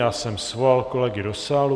Já jsem svolal kolegy do sálu.